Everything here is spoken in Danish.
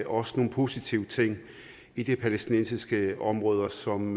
også nogle positive ting i de palæstinensiske områder som